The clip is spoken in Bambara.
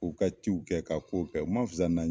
K'u ka ciw kɛ ka k'o kɛ u mun fisa na